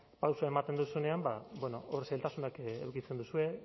pausoa ematen duzunean ba bueno hor zailtasunak edukitzen duzue